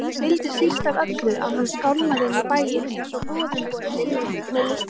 Hún vildi síst af öllu að hann skálmaði inn í bæinn einsog goðumborinn sigurvegari.